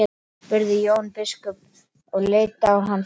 spurði Jón biskup og leit á hann fast.